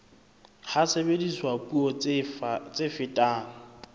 ha sebediswa puo tse fetang